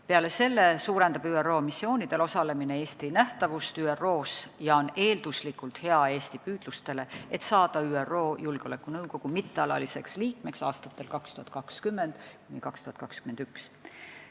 Peale selle suurendab ÜRO missioonidel osalemine Eesti nähtavust ÜRO-s ja on eelduslikult hea Eesti püüdlustele saada ÜRO Julgeolekunõukogu mittealaliseks liikmeks aastatel 2020–2021.